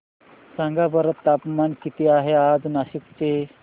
सांगा बरं तापमान किती आहे आज नाशिक चे